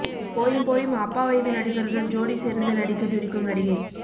போயும் போயும் அப்பா வயது நடிகருடன் ஜோடி சேர்ந்து நடிக்கத் துடிக்கும் நடிகை